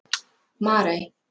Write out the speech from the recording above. Marey